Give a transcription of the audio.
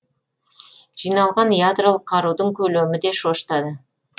жиналған ядролық қарудың көлемі де шошытады